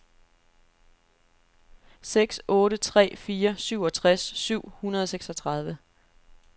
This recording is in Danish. seks otte tre fire syvogtres syv hundrede og seksogtredive